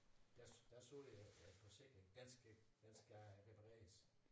Der der så jeg at at forsinkringen den skal den skal repareres